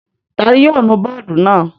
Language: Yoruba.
Ta ni yóò nu bọ́ọ́dù náà?